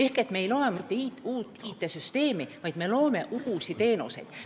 Ja me ei loo mitte uut IT-süsteemi, vaid loome uusi teenuseid.